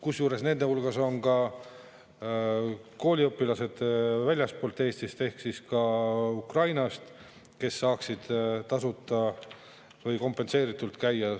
Kusjuures nende hulgas on ka kooliõpilased väljastpoolt Eestit, ka Ukrainast, kes saaksid tasuta või kompenseeritult käia.